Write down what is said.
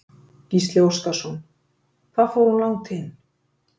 Gísli Óskarsson: Hvað fór hún langt inn?